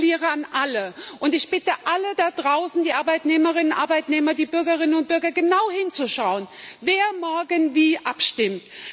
Ich appelliere an alle, und ich bitte alle da draußen die Arbeitnehmerinnen und Arbeitnehmer, die Bürgerinnen und Bürger genau hinzuschauen, wer morgen wie abstimmt.